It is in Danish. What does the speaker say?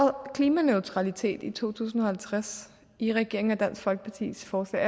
klimaneutralitet i to tusind og halvtreds i regeringen og dansk folkepartis forslag